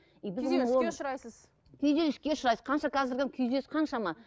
күйзеліске ұшырайсыз қанша қазіргі күйзеліс қаншама